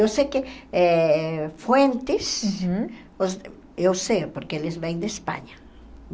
Eu sei que eh Fuentes, uhum os eu sei porque eles vêm de Espanha.